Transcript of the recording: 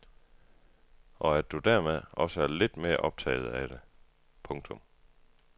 Og at du dermed også er lidt mere optaget af det. punktum